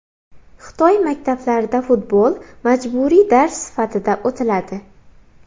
Xitoy maktablarida futbol majburiy dars sifatida o‘tiladi.